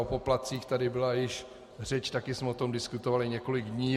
O poplatcích tady byla již řeč, také jsme o tom diskutovali několik dní.